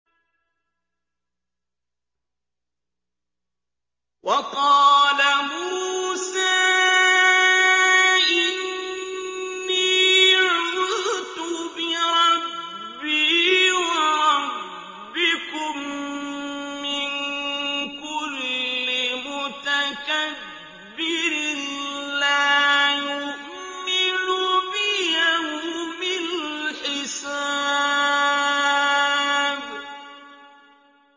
وَقَالَ مُوسَىٰ إِنِّي عُذْتُ بِرَبِّي وَرَبِّكُم مِّن كُلِّ مُتَكَبِّرٍ لَّا يُؤْمِنُ بِيَوْمِ الْحِسَابِ